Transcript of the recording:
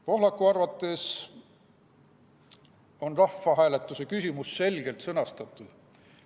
Pohlaku arvates on rahvahääletuse küsimus selgelt sõnastatud.